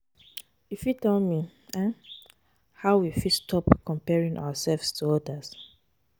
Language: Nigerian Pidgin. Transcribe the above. You fit tell me um how we fit stop comparing ourselves to odas?